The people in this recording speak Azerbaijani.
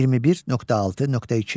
21.6.2.